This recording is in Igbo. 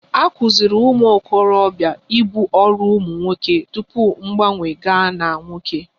A kụziiri ụmụ okorobia ibu ọrụ ụmụ nwoke tupu mgbanwe gaa na nwoke